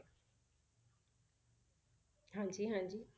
ਹਾਂਜੀ ਹਾਂਜੀ